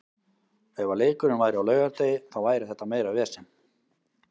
Ef að leikurinn væri á laugardegi þá væri þetta meira vesen.